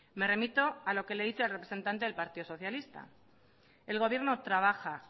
me remito a lo que le he dicho al representante del partido socialista el gobierno trabaja